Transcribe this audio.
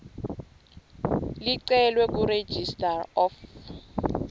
licelwe kuregistrar of